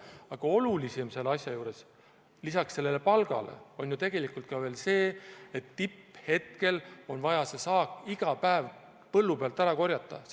Aga olulisem selle asja juures lisaks palgale on ju ka see, et tipphetkel on vaja see saak iga päev põllu pealt ära korjata.